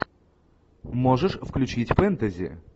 можешь включить фэнтези